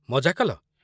ମଜା କଲ ?